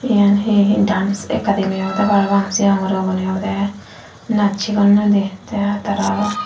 iyan he dance academy obode parapang sigon guro gune obode naj sigonnoi te tara